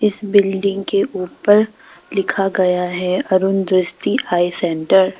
इस बिल्डिंग के ऊपर लिखा गया है अरुण दृष्टि आई सेंटर ।